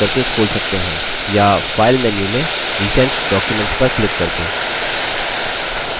या file menu में recent documents पर क्लिक करके